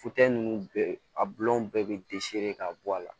ninnu bɛɛ a bulɔw bɛɛ bɛ ka bɔ a la